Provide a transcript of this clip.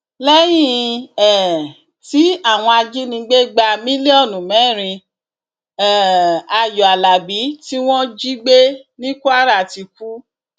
lẹyìn um tí àwọn ajinígbé gba mílíọnù mẹrin um ayọ alábi tí wọn jí gbé ní kwara ti kú